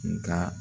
Nga